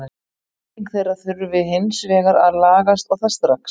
Nýting þeirra þurfi hins vegar að lagast og það strax.